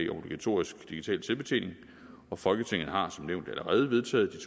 obligatorisk digital selvbetjening og folketinget har som nævnt allerede vedtaget